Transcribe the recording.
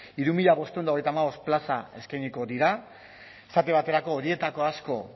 hiru mila bostehun eta hogeita hamabost plaza eskainiko dira esate baterako horietako asko